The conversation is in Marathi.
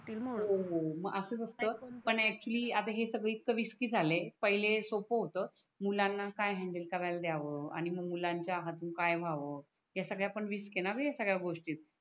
हो हो मग असच असत पण ऐक्चुली आता हे सगळं इतकं रिस्की झालय पहिले सोपं होत मुलांना काय हॅंडल कराल दयाव आणि मग मुलांच्या हातून काय व्हाव ह्या सगळ्या पण रिस्क आहे णा बे हया सगळ्या गोष्टीत